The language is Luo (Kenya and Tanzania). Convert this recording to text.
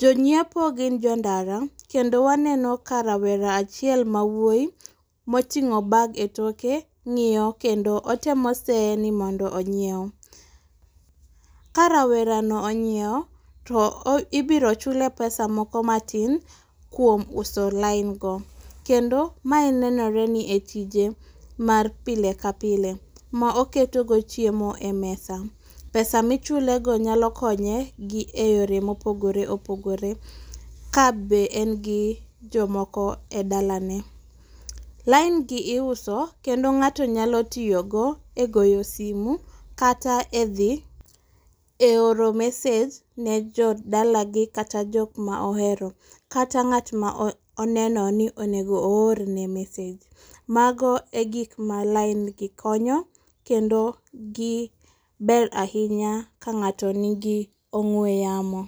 Jonyiepo gin jo ndara, kendo waneno ka rawera achiel ma wuoyi moting'o bag e toke ng'iyo kendo otemo seye ni mondo onyiew. Ka rawera no onyiewo, to ibiro chule pesa moko matin kuom uso lain go. Kendo mae nenore ni e tije mar pile ka pile ma oketogo chiemo e mesa. Pesa michule go nyalo konye gi e yore mopogore opogore, ka be en gi jomoko e dalane. Line gi iuso kendo ng'ato nyalo tiyo go e goyo simu kata e oro message ne jodalagi kata jok ma ohere, kata ng'at ma oneno ni onego oorne message. Mago e gik ma line gi konyo kendo gi ber ahinya ka ng'ato nigi ong'we yamo.